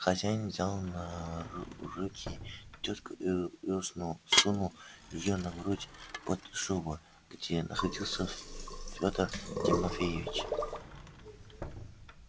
хозяин взял на руки тётку и сунул её на грудь под шубу где находился федор тимофеич